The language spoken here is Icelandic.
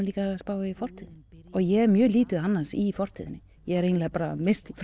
líka að spá í fortíðinni ég er mjög lítið annars í fortíðinni ég er eiginlega bara mest í